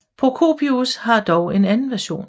Procopius har dog en anden version